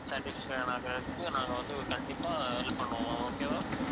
satisfaction ஆகறதுக்கு நாங்க வந்து கண்டிப்பா help பண்ணுவோம் ma'am okay வா